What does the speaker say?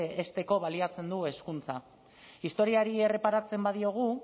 hezteko baliatzen du hezkuntza historiari erreparatzen badiogu